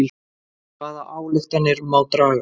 Hvaða ályktanir má draga?